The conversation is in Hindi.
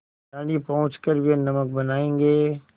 दाँडी पहुँच कर वे नमक बनायेंगे